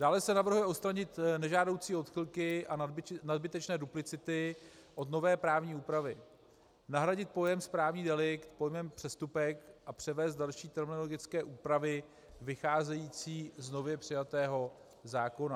Dále se navrhuje odstranit nežádoucí odchylky a nadbytečné duplicity od nové právní úpravy, nahradit pojem správní delikt pojmem přestupek a převést další terminologické úpravy vycházející z nově přijatého zákona.